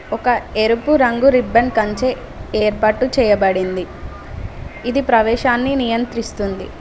ఒక ఎరుపు రంగు రిబ్బన్ కంచె ఏర్పాటు చేయబడింది ఇది ప్రవేశాన్ని నియంత్రిస్తుంది.